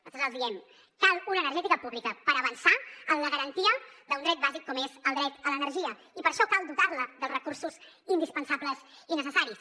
nosaltres els diem que cal una energètica pública per avançar en la garantia d’un dret bàsic com és el dret a l’energia i per això cal dotar la dels recursos indispensables i necessaris